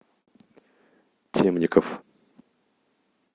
темников